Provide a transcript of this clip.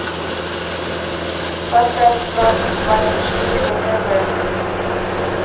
поставь франс двадцать четыре на тв